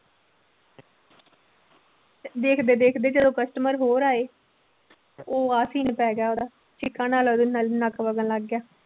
ਦੇਖਦੇ ਦੇਖਦੇ ਜਦੋਂ customer ਹੋਰ ਆਏ ਤੇ ਉਹ ਆ scene ਪੈ ਗਿਆ ਉਹਦਾ ਛਿੱਕਾਂ ਨਾਲ ਉਹਦੇ ਨ ਨੱਕ ਵਗਣ ਲੱਗ ਗਿਆ।